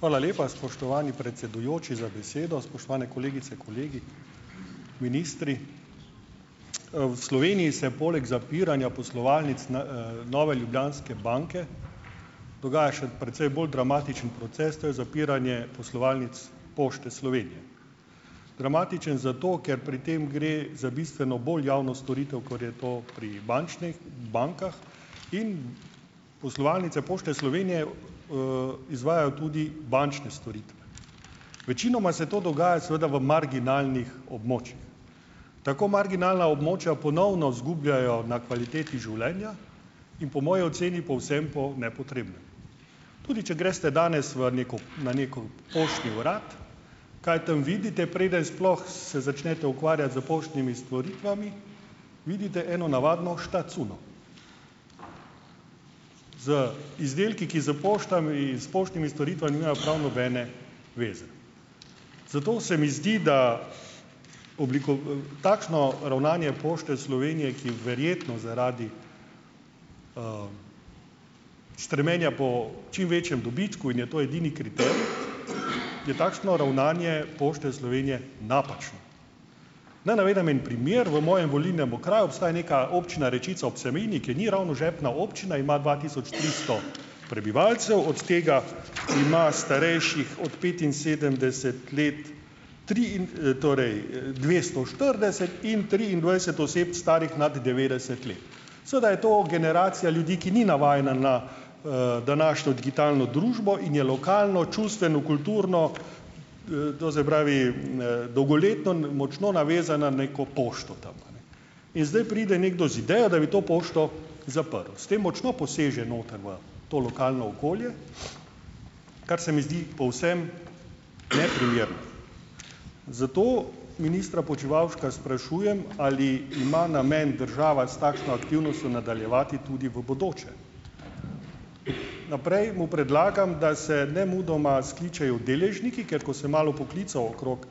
Hvala lepa, spoštovani predsedujoči, za besedo! Spoštovani kolegice, kolegi, ministri! V Sloveniji se poleg zapiranja poslovalnic Nove Ljubljanske banke dogaja še precej bolj dramatičen proces, to je zapiranje poslovalnic Pošte Slovenije. Dramatičen zato, ker pri tem gre za bistveno bolj javno storitev, kot je to pri bančnih bankah, in poslovalnice Pošti Slovenije, izvajajo tudi bančne storitve. Večinoma se to dogaja seveda v marginalnih območjih. Tako marginalna območja ponovno izgubljajo na kvaliteti življenja in po moji oceni povsem po nepotrebnem. Tudi če greste danes v neko, na neko poštni urad, kaj tam vidite, preden sploh se začnete ukvarjati s poštnimi storitvami, vidite eno navadno "štacuno", z izdelki, ki s poštami in s poštnimi storitvami nimajo prav nobene zveze. Zato se mi zdi, da takšno ravnanje Pošte Slovenije, ki verjetno zaradi stremljenja po čim večjem dobičku, in je to edini kriterij, je takšno ravnanje Pošte Slovenije napačno. Naj navedem en primer. V mojem volilnem okraju obstaja neka občina Rečica ob Savinji, ki ni ravno žepna občina, ima dva tisoč tristo prebivalcev, od tega ima starejših od petinsedemdeset let, torej, dvesto štirideset in triindvajset oseb, starih nad devetdeset let. Seveda je to generacija ljudi, ki ni navajena na, današnjo digitalno družbo in je lokalno, čustveno, kulturno, - do zdaj pravi, dolgoletno - močno navezana neko pošto tam, a ne. In zdaj pride nekdo z idejo, da bi to pošto zaprl. S tem močno poseže noter v to lokalno okolje, kar se mi zdi povsem neprimerno. Zato ministra Počivalška sprašujem, ali ima namen država s takšno aktivnostjo nadaljevati tudi v bodoče. Naprej - mu predlagam, da se nemudoma skličejo deležniki. Ker ko sem malo poklical okrog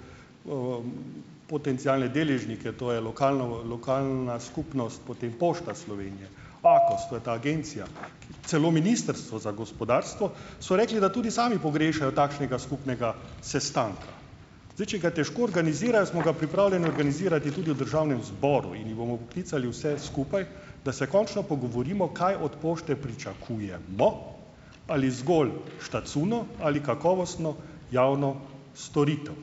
potencialne deležnike, to je lokalna lokalna skupnost, potem Pošta Slovenije, AKOS, to je ta agencija, celo Ministrstvo za gospodarstvo - so rekli, da tudi sami pogrešajo takšnega skupnega sestanka. Zdaj, če ga težko organizirajo, smo ga pripravljeni organizirati tudi v državnem zboru in jih bomo poklicali vse skupaj, da se končno pogovorimo, kaj od pošte pričakujemo - ali zgolj štacuno ali kakovostno javno storitev.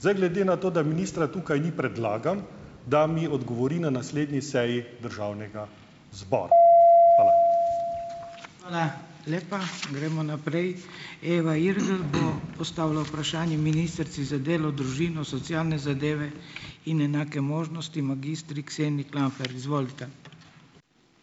Zdaj, glede na to, da ministra tukaj ni, predlagam, da mi odgovori na naslednji seji državnega zbora. Hvala.